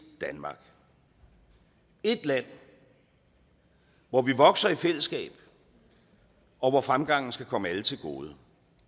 danmark et land hvor vi vokser i fællesskab og hvor fremgangen skal komme alle til gode